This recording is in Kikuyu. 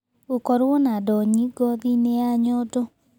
Gũkorũo na ndonyi ngothi-inĩ ya nyondo.